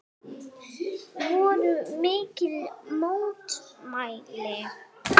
Voru mikil mótmæli?